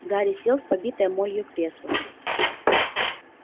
гарри сел в побитое молью кресло